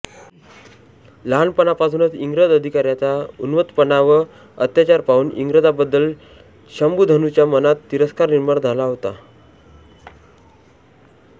लहानपणापासूनच इंग्रज अधिकाऱ्याचा उन्मत्तपणा व अत्याचार पाहून इंग्रजाबद्दल शंभुधनच्या मनात तिरस्कार निर्माण झाला होता